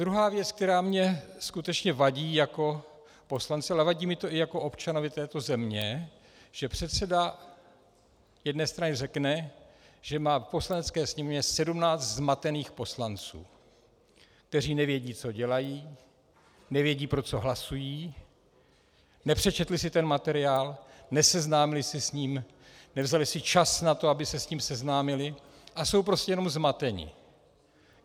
Druhá věc, která mi skutečně vadí jako poslanci, ale vadí mi to i jako občanovi této země, že předseda jedné strany řekne, že má v Poslanecké sněmovně 17 zmatených poslanců, kteří nevědí, co dělají, nevědí, pro co hlasují, nepřečetli si ten materiál, neseznámili se s ním, nevzali si čas na to, aby se s ním seznámili, a jsou prostě jenom zmateni.